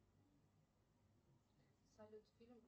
салют фильм